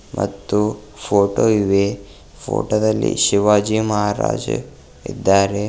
ಮತ್ತು ಫೋಟೋ ಇವೆ ಫೋಟೋ ದಲ್ಲಿ ಶಿವಾಜಿ ಮಹಾರಾಜ ಇದ್ದಾರೆ.